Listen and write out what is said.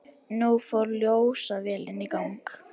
Nú fór ljósavélin í gang.